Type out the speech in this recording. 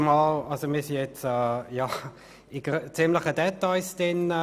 der BaK. Wir haben uns jetzt in ziemlich kleine Details verloren.